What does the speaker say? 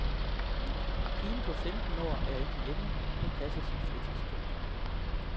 Pigen på femten år er ikke hjemme, hun passer sit fritidsjob.